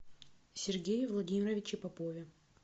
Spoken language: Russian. сергее владимировиче попове